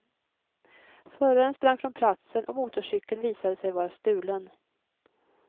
Föraren sprang från platsen och motorcykeln visade sig vara stulen.